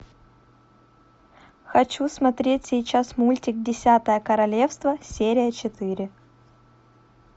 хочу смотреть сейчас мультик десятое королевство серия четыре